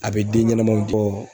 A bɛ den ɲɛnamaw di.